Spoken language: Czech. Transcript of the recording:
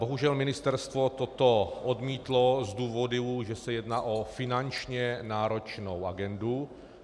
Bohužel ministerstvo toto odmítlo z důvodů, že se jedná o finančně náročnou agendu.